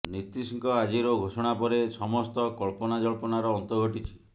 ନୀତୀଶଙ୍କ ଆଜିର ଘୋଷଣା ପରେ ସମସ୍ତ କଳ୍ପନାଜଳ୍ପନାର ଅନ୍ତ ଘଟିଛି